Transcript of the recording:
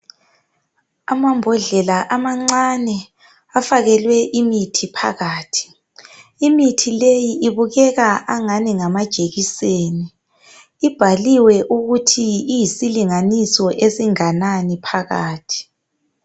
Amambodlela amancane afakelwe imithi phakathi . Imithi leyi ibukeka angathi ngamajekiseni. Ibhaliwe ukuthi iyisilinganiso esinganani phakathi.